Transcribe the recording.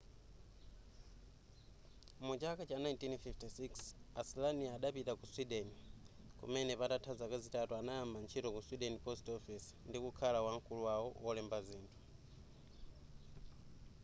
muchaka cha 1956 a slania idapita ku sweden kumene patatha zaka zitatu anayamba ntchito ku sweden post office ndi kukhala wamkulu wawo wolemba zinthu